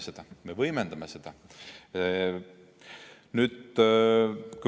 Ja me võimendame seda.